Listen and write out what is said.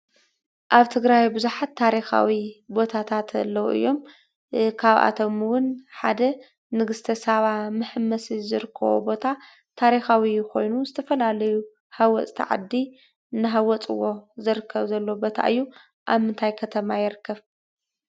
ኣብ ትግራይ ብዙሓት ታሪኻዊ ቦታታት ኣለው እዮም ።ካብኣቶም 'ውን ሓደ ንግስተ ሳባ መሐመሲ ዝርከቦ ቦታ ታሪኻዊ ኾይኑ ዝተፈላለዩ ሃወፅቲ ዓዲ እናሃወፅዎ ዝርከብ ዘሎ ቦታ እዩ ።ኣብ ምንታይ ከተማ ይርከብ ?